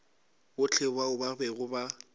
bohle bao ba bego ba